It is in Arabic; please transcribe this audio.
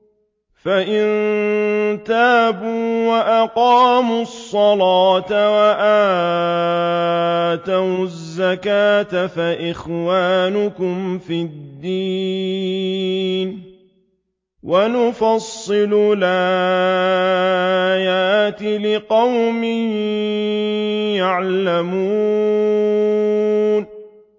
فَإِن تَابُوا وَأَقَامُوا الصَّلَاةَ وَآتَوُا الزَّكَاةَ فَإِخْوَانُكُمْ فِي الدِّينِ ۗ وَنُفَصِّلُ الْآيَاتِ لِقَوْمٍ يَعْلَمُونَ